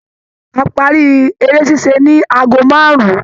A parí eré ṣíṣe ní ago márùn-ún.